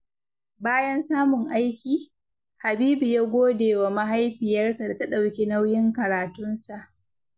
Bayan samun aiki, Habibu ya gode wa mahaifiyarsa da ta ɗauki nauyin karatunsa.